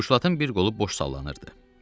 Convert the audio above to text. Buşlatın bir qolu boş sallanırdı.